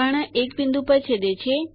કર્ણ એક બિંદુ પર છેદે છે